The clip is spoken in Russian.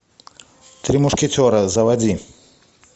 три мушкетера заводи